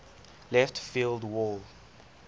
left field wall